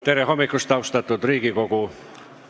Tere hommikust, austatud Riigikogu!